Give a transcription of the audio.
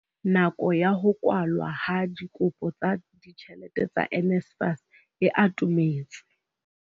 Nako ya ho kwalwa ha dikopo tsa ditjhelete tsa NSFAS e atometse.